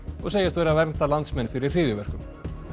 og segjast vera að vernda landsmenn fyrir hryðjuverkum